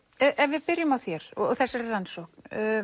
ef við byrjum á þér og þessari rannsókn